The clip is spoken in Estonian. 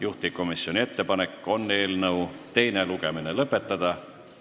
Juhtivkomisjoni ettepanek on eelnõu teine lugemine lõpetada.